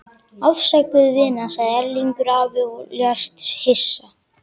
Afsakaðu, vina sagði Erlingur afi og lést hissa.